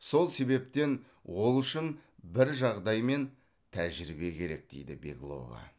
сол себептен ол үшін бір жағдай мен тәжірбие керек дейді беглова